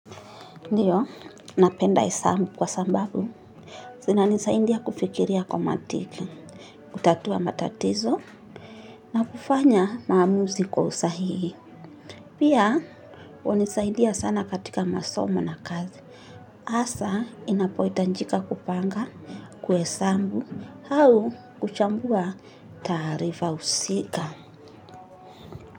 Ndiyo, napenda esabu kwa sambabu, zina nisaindia kufikiria kwa mantiki, utatua matatizo, na kufanya maamuzi kwa usahihi. Pia hunisaidia sana katika masomo na kazi asa inapoitanjika kupanga kuesabu au kuchambua tarifa usika.